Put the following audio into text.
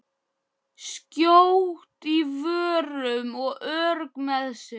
Skjót í svörum og örugg með sig.